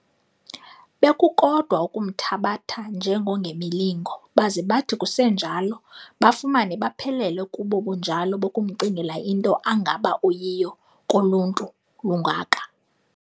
Bekukodwa ukumthabatha njengongemilingo, baze bathi kusenjalo, bafumane baphelele kubo bunjalo bokumcingela into angaba uyiyo koluntu lungaka.